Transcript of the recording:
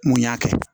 Mun y'a kɛ